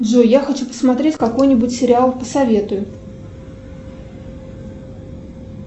джой я хочу посмотреть какой нибудь сериал посоветуй